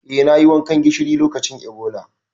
Eh, nayi wankan gishiri lokacin Ebola.